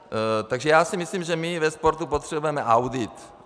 Takže já si myslím, že my ve sportu potřebujeme audit.